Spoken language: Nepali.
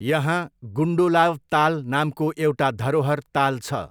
यहाँ गुन्डोलाव ताल नामको एउटा धरोहर ताल छ।